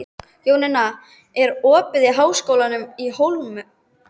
Jónína, er opið í Háskólanum á Hólum?